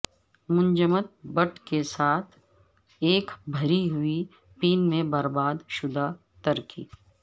منجمد کے بٹس کے ساتھ ایک بھری ہوئی پین میں برباد شدہ ترکی